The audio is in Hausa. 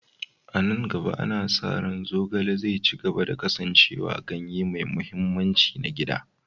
A nan gaba, ana sa ranczogale zai ci gaba da kasancewa ganye mai mahimmanci na gida.